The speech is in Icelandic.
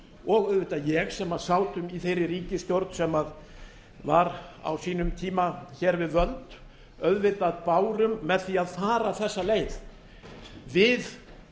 og auðvitað ég sem sátum í þeirri ríkisstjórn sem var á sínum tíma hér völd auðvitað bárum með því að fara þessa leið við